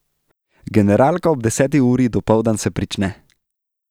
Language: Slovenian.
Generalka ob deseti uri dopoldan se prične.